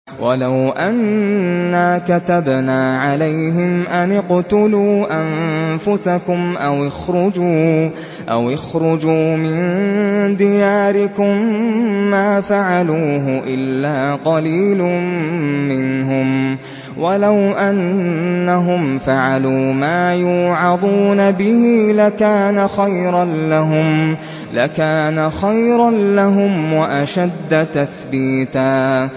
وَلَوْ أَنَّا كَتَبْنَا عَلَيْهِمْ أَنِ اقْتُلُوا أَنفُسَكُمْ أَوِ اخْرُجُوا مِن دِيَارِكُم مَّا فَعَلُوهُ إِلَّا قَلِيلٌ مِّنْهُمْ ۖ وَلَوْ أَنَّهُمْ فَعَلُوا مَا يُوعَظُونَ بِهِ لَكَانَ خَيْرًا لَّهُمْ وَأَشَدَّ تَثْبِيتًا